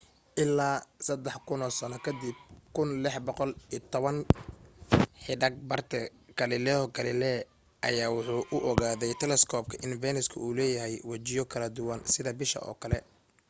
ilaa sadax kuno sano kadib 1610 xidag barte galileo galilei ayaa waxa uu ku ogaaday telescope in venus uu leeyahay wajiyo kala duwan sida bisha oo kale